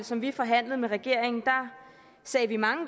som vi forhandlede med regeringen sagde vi mange